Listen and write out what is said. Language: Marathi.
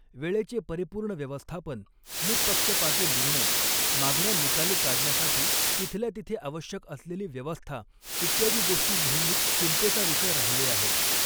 वेळेचे परिपूर्ण व्यवस्थापन, निःपक्षपाती निर्णय, मागण्या निकाली काढण्यासाठी तिथल्या तिथे आवश्यक असलेली व्यवस्था इत्यादी गोष्टी नेहमीच चिंतेचा विषय राहिले आहेत.